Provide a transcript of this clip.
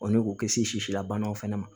ne k'o kisi la banaw fana ma